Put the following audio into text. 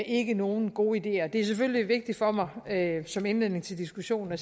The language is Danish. ikke nogen gode ideer det er selvfølgelig vigtigt for mig at som indledning til diskussionen at